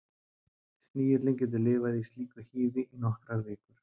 Snigillinn getur lifað í slíku hýði í nokkrar vikur.